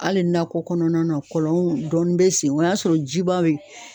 Hali nakɔ kɔnɔna na kɔlɔn dɔɔni be sen o y'a sɔrɔ jiba yen